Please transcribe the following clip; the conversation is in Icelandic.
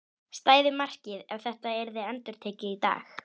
Stæði markið ef þetta yrði endurtekið í dag?